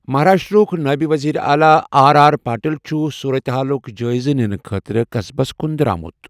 مہاراشٹرٛاہُک نٲیِب ؤزیٖرِ اعلیٰ آر آر پاٹِل چُھ صوٗرت حالُک جٲیزٕ نِنہِ خٲطرٕ قصبس کُن درٛامُت۔